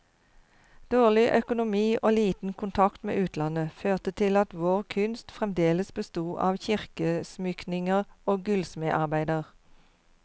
Dårlig økonomi og liten kontakt med utlandet, førte til at vår kunst fremdeles besto av kirkeutsmykninger og gullsmedarbeider.